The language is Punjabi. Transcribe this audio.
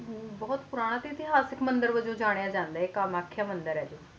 ਬੋਹਤ ਪੂਰਨ ਤੇ ਇਤਿਹਾਸਿਕ ਮੰਦਿਰ ਜੰਨੀਆ ਜਾਂਦਾ ਹੈ